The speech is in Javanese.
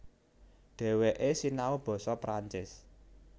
Dhèwèké sinau basa Perancis